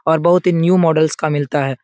और बहुत ही न्यू मॉडल्स का मिलता है।